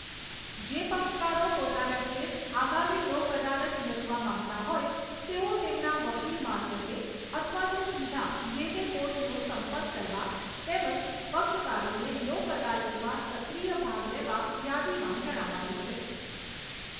જે પક્ષકારો પોતાના કેસ આગામી લોક અદાલત મૂકવા માગતા હોય તેઓ તેમના વકીલ મારફતે અથવા તો સીધા જે તે કોર્ટનો સંપર્ક કરવા તેમજ પક્ષકારોને લોક અદાલતમાં સક્રિય ભાગ લેવા યાદીમાં જણાવાયું છે.